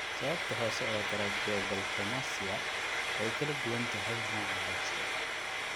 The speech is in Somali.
Sababta hoose ee tracheobronchomalacia (TBM) way ku kala duwan tahay nooca hoose.